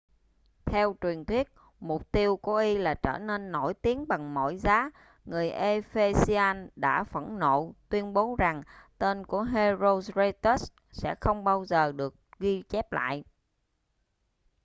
theo truyền thuyết mục tiêu của y là trở nên nổi tiếng bằng mọi giá người ephesians đã phẫn nộ tuyên bố rằng tên của herostratus sẽ không bao giờ được ghi chép lại